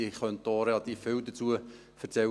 Ich könnte auch relativ viel dazu erzählen.